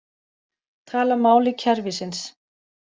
Tala máli kerfisins